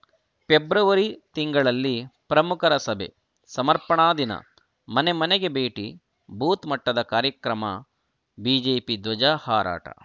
February ತಿಂಗಳಲ್ಲಿ ಪ್ರಮುಖರ ಸಭೆ ಸಮರ್ಪಣಾ ದಿನ ಮನೆ ಮನೆಗೆ ಭೇಟಿ ಬೂತ್‌ ಮಟ್ಟದ ಕಾರ್ಯಕ್ರಮ ಬಿಜೆಪಿ ಧ್ವಜಾ ಹಾರಾಟ